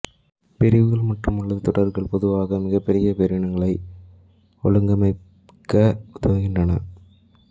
பிரிவுகள் மற்றும்அல்லது தொடர்கள் பொதுவாக மிகப் பெரிய பேரினங்களை ஒழுங்கமைக்க உதவுகின்றன